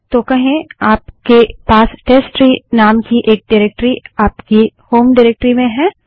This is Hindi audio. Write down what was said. तो कहें आपके पास टेस्टट्री नाम की एक डाइरेक्टरी आपकी होम डाइरेक्टरी में है